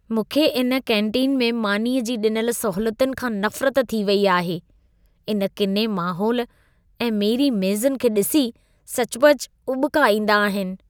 मूंखे इन केन्टीन में मानीअ जी ॾिनल सहूलियतुनि खां नफ़रत थी वेई आहे। इन किने माहौल ऐं मेरी मेज़ुनि खे ॾिसी सचुपचु उॿिका ईंदा आहिनि।